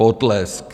Potlesk.